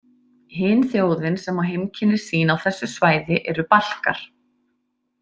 Hin þjóðin sem á heimkynni sín á þessu svæði eru Balkar.